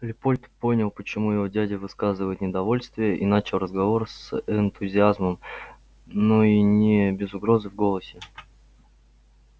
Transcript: лепольд понял почему его дядя выказывает неудовольствие и начал разговор с энтузиазмом но и не без угрозы в голосе